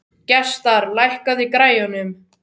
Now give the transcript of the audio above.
Gestar, lækkaðu í græjunum.